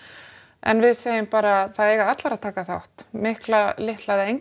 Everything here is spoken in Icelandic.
en við segjum bara það eiga allar að taka þátt mikla litla eða enga